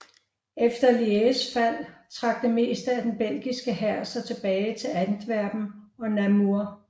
Efter Lièges fald trak det meste af den belgiske hær sig tilbage til Antwerpen og Namur